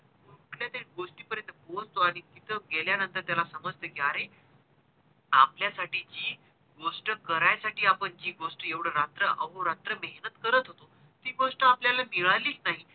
बोलतो आणि तिथे गेल्या नंतर त्याला समजत कि आरे हा आपल्या साठी जी गोष्ट करायसाठी आपण जी गोष्ट एवढ रात्र अहो रात्र मेहेनत करत होतो ती गोष्ट आपल्याला मिळालीच नाही.